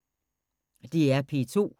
DR P2